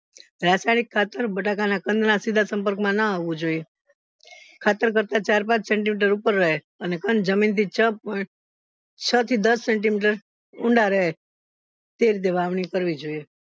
રાસાયણિક ખાતર બટાકા ના કંદ ના સીધા સંપર્ક માં ન આવું જોઈએ ખાતર કરતા ચાર પાંચ centimeter ઉપર રહે અને કંદ જમીન થી છ થી દસ centimeter ઊંડા રહે તે રીતે વાવણી કરવી જોઈએ